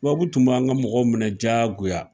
Tubabu tun b'an ka mɔgɔw minɛ diyagoya